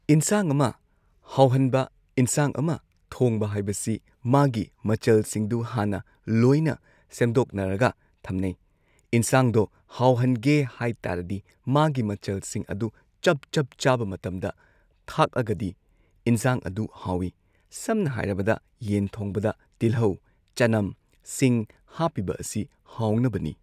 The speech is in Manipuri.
ꯏꯟꯁꯥꯡ ꯑꯃ ꯍꯥꯎꯍꯟꯕ ꯏꯟꯁꯥꯡ ꯑꯃ ꯊꯣꯡꯕ ꯍꯥꯏꯕꯁꯤ ꯃꯥꯒꯤ ꯃꯆꯜꯁꯤꯡꯗꯨ ꯍꯥꯟꯅ ꯂꯣꯏꯅ ꯁꯦꯝꯗꯣꯛꯅꯔꯒ ꯊꯝꯅꯩ ꯏꯟꯁꯥꯡꯗꯣ ꯍꯥꯎꯍꯟꯒꯦ ꯍꯥꯏ ꯇꯥꯔꯗꯤ ꯃꯥꯒꯤ ꯃꯆꯜꯁꯤꯡ ꯑꯗꯨ ꯆꯞ ꯆꯞ ꯆꯥꯕ ꯃꯇꯝꯗ ꯊꯥꯛꯑꯒꯗꯤ ꯏꯟꯖꯥꯡ ꯑꯗꯨ ꯍꯥꯎꯋꯤ ꯁꯝꯅ ꯍꯥꯏꯔꯕꯗ ꯌꯦꯟ ꯊꯣꯡꯕꯗ ꯇꯤꯜꯍꯧ ꯆꯅꯝ ꯁꯤꯡ ꯍꯥꯞꯄꯤꯕ ꯑꯁꯤ ꯍꯥꯎꯅꯕꯅꯤ꯫